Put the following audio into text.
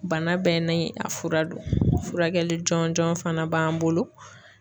Bana bɛɛ ni a fura don furakɛli jɔn jɔn fana b'an bolo.